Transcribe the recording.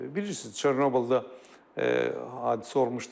Bilirsiniz, Çernobılda hadisə olmuşdu.